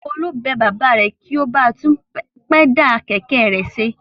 Folú bẹ bàbá rẹ̀ kí ó ba tún pẹ́dà kẹ̀kẹ́ rẹ̀ ṣe.